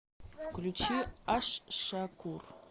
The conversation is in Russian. включи аш шакур